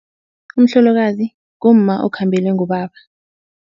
Umhlolokazi ngumma okhambelwe ngubaba.